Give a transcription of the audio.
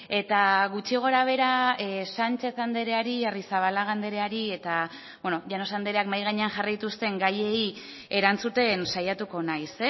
eta gutxi gorabehera sánchez andreari arrizabalaga andreari eta llanos andreak mahai gainean jarri dituzten gaiei erantzuten saiatuko naiz